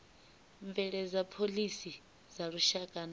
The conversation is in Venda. bveledza phoḽisi dza lushaka na